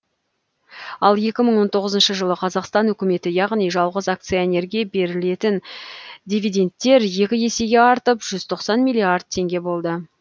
куі мың он тоғызыншы жылы қазақстан үкіметі яғни жалғыз акционерге берілетін дивидендтер екі есеге артып жүз тоқсан миллиард теңге болды